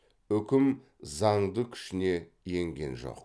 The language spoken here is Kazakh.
үкім заңды күшіне енген жоқ